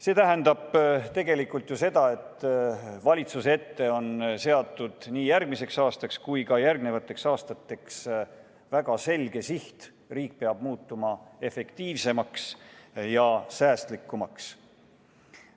See tähendab tegelikult seda, et valitsuse ette on seatud nii järgmiseks aastaks kui ka järgnevateks aastateks väga selge siht: riik peab muutuma efektiivsemaks ja säästlikumaks.